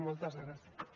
moltes gràcies